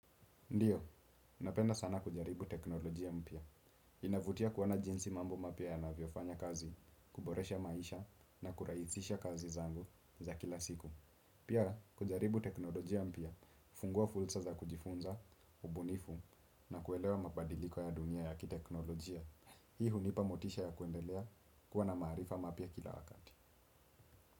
Ndiyo, napenda sana kujaribu teknolojia mpya. Inavutia kuona jinsi mambo mapya yanavyofanya kazi, kuboresha maisha na kurahisisha kazi zangu za kila siku. Pia, kujaribu teknolojia mpya, hufungua fursa za kujifunza, ubunifu na kuelewa mabadiliko ya dunia ya kiteknolojia. Hii hunipa motisha ya kuendelea kuwa na maarifa mapya kila wakati.